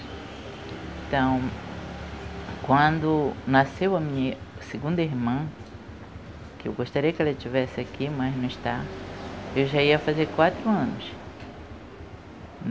Então, quando nasceu a minha segunda irmã, que eu gostaria que ela estivesse aqui, mas não está, eu já ia fazer quatro anos.